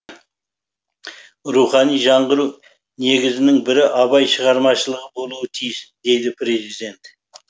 рухани жаңғыру негізінің бірі абай шығармашылығы болуы тиіс деді президент